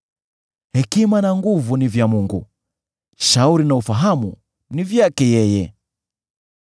“Hekima na nguvu ni vya Mungu; shauri na ufahamu ni vyake yeye.